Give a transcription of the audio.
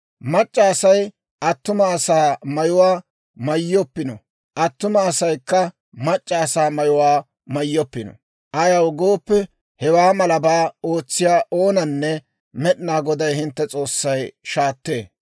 «Mac'c'a Asay attuma asaa mayuwaa mayyoppino; attuma asaykka mac'c'a asaa mayuwaa mayyoppino. Ayaw gooppe, hewaa malabaa ootsiyaa oonanne Med'inaa Goday hintte S'oossay shaattee.